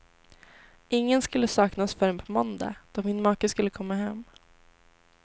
Ingen skulle sakna oss förrän på måndag, då min make skulle komma hem.